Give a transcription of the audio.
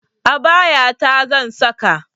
Abaya ta zan saka